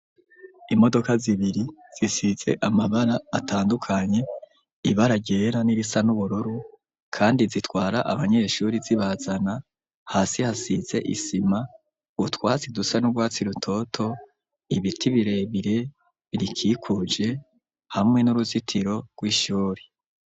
Imodoka zibiri zisize amabara atandukanye ibara ryera n'irisa n'ubururu kandi zitwara abanyeshuri zibazana hasi hasize isima, utwasi dusa n'urwatsi rutoto ibiti birebire birikikuje hamwe n'uruzitiro rw'ishuri.